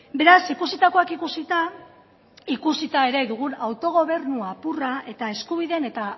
beraz ikusitakoak ikusita ikusita ere dugun autogobernu apurra eta eskubideen eta